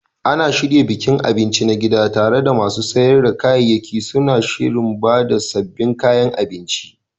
Ana shirya bikin abinci na gida, tare da masu sayar da kayayyaki suna shirin ba da sabbin kayan abinci.